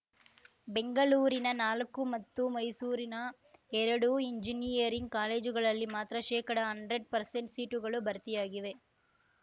ಬೆಂಗಳೂರಿನ ನಾಲ್ಕು ಮತ್ತು ಮೈಸೂರಿನ ಎರಡು ಎಂಜಿನಿಯರಿಂಗ್‌ ಕಾಲೇಜುಗಳಲ್ಲಿ ಮಾತ್ರ ಶೇಕಡಹನ್ಡ್ರೇಡ್ ಪರ್ಸೆಂಟ್ ಸೀಟುಗಳು ಭರ್ತಿಯಾಗಿವೆ